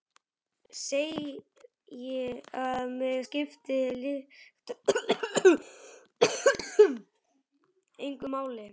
Segi að mig skipti lykt engu máli.